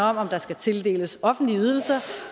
om om der skal tildeles offentlige ydelser